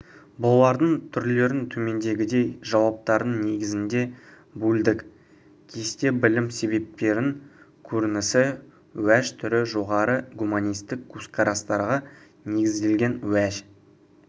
бұлардың түрлерін төмендегідей жауаптардың негізінде бөлдік кесте білім себептерінің көрінісі уәж түрі жоғары гуманистік көзқарастарға негізделген уәж